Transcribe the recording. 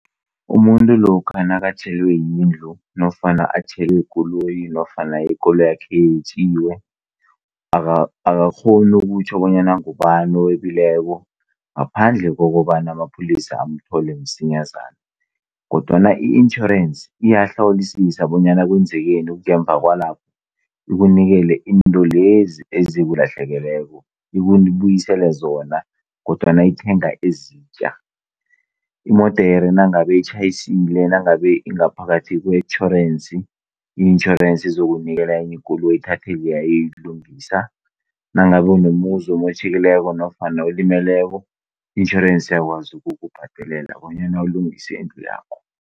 Umuntu lokha nakatjhelwe yindlu nofana atjhelwe yikoloyi, nofana ikoloyi yakhe yetjiwe, akakghoni ukutjho bonyana ngubani owebileko ngaphandle kokobana amapholisa amthole msinyazana. Kodwana itjhorensi iyahlolisisa bonyana kwenekeni ngemuva kwalapho, ikunikele izinto lezi ezikulahlekeleko, ikubuyisele zona, kodwana ithenga ezitjha. Imodere nangabe itjhayisile ingaphakathi kwetjhorensi, itjhorensi izokunikela enye ikoloyi ithethe leya iyoyilungisa. Ilungisa nangabe nomuzi umotjhekile nofana olimeleko, itjhorensi iyakwazi ukukubhadelela bonyana ulungise indlu yakho.